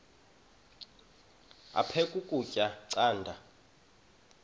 aphek ukutya canda